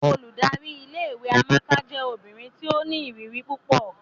Óludari ìlé-ìwé Amaka jẹ obinrin ti o ni iriri pupọ.